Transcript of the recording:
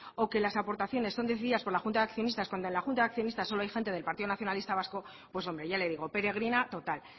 o que las aportaciones son decididas por la junta de accionistas cuando en la junta de accionistas solo hay gente del partido nacionalista vasco pues hombre ya le digo peregrina total